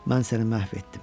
Mən səni məhv etdim.